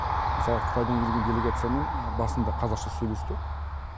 мысалы қытайдан келген делегациямен басында қазақша сөйлесті